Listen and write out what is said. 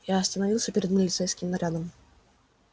и остановился перед милицейским нарядом